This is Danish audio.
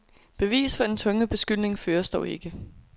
Bevis for denne tunge beskyldning føres dog ikke.